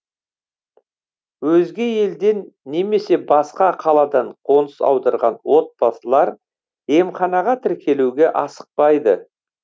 өзге елден немесе басқа қаладан қоныс аударған отбасылар емханаға тіркелуге асықпайды